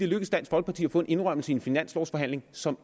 lykkedes dansk folkeparti at få en indrømmelse i en finanslovforhandling som